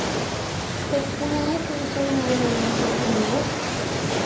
sextionio tusen niohundrasjuttionio